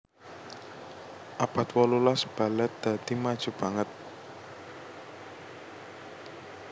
Abad wolulas balèt dadi maju banget